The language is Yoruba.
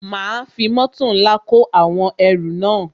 Ma fi mótò ńlá kó àwọn ẹrù náà